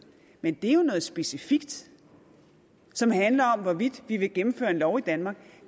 men det er jo noget specifikt som handler om hvorvidt vi vil indføre en lov i danmark